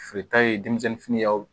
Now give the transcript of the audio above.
Feereta ye denmisɛnnin fini y'aw